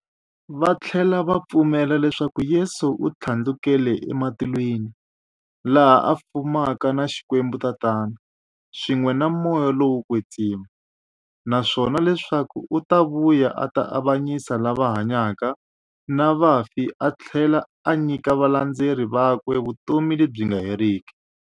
Vathlela va pfumela leswaku Yesu u thlandlukele ematilweni, laha a fumaka na Xikwembu-Tatana, swin'we na Moya lowo kwetsima, naswona leswaku u ta vuya a ta avanyisa lava hanyaka na vafi athlela a nyika valandzeri vakwe vutomi lebyi nga heriki.